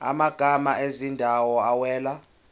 amagama ezindawo awela